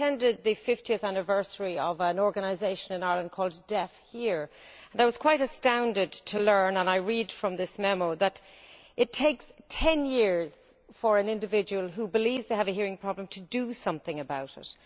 I attended the 50 th anniversary of an organisation in Ireland called DeafHear and I was quite astounded to learn and I read from this memo that it takes 10years for an individual who believes they have a hearing problem to do something about it.